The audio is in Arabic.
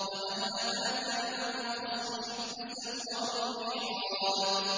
۞ وَهَلْ أَتَاكَ نَبَأُ الْخَصْمِ إِذْ تَسَوَّرُوا الْمِحْرَابَ